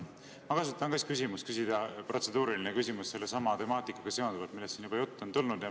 Ma kasutan ka siis võimalust, et küsida protseduuriline küsimus sellesama temaatikaga seonduvalt, millest siin juba juttu on tulnud.